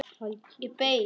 Ég beið.